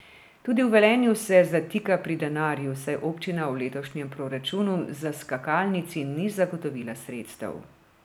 Tudi v Velenju se zatika pri denarju, saj občina v letošnjem proračunu za skakalnici ni zagotovila sredstev.